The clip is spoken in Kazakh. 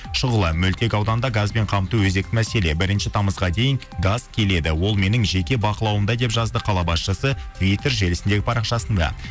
шұғыла мөлтек ауданда газбен қамту өзекті мәселе бірінші тамызға дейін газ келеді ол менің жеке бақылауымда деп жазды қала басшысы твиттер желісіндегі парақшасында